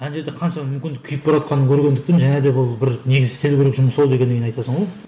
әне жерде қанша мүмкін күйіпбаратқанын көргендіктен және де бұл бір негізі істелу керек жұмыс ау дегеннен кейін айтасың ғой